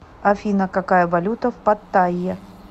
афина какая валюта в паттайе